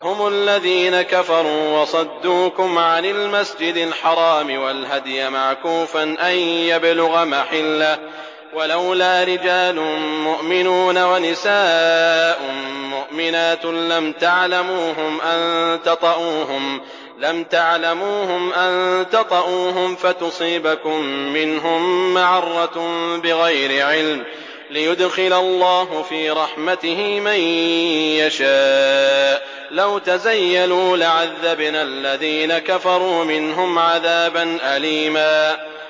هُمُ الَّذِينَ كَفَرُوا وَصَدُّوكُمْ عَنِ الْمَسْجِدِ الْحَرَامِ وَالْهَدْيَ مَعْكُوفًا أَن يَبْلُغَ مَحِلَّهُ ۚ وَلَوْلَا رِجَالٌ مُّؤْمِنُونَ وَنِسَاءٌ مُّؤْمِنَاتٌ لَّمْ تَعْلَمُوهُمْ أَن تَطَئُوهُمْ فَتُصِيبَكُم مِّنْهُم مَّعَرَّةٌ بِغَيْرِ عِلْمٍ ۖ لِّيُدْخِلَ اللَّهُ فِي رَحْمَتِهِ مَن يَشَاءُ ۚ لَوْ تَزَيَّلُوا لَعَذَّبْنَا الَّذِينَ كَفَرُوا مِنْهُمْ عَذَابًا أَلِيمًا